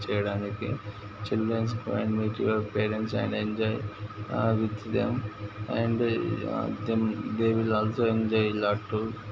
చేయడానికి childrens and with your parents and enjoy with them I'm there is also enjoy a lot to --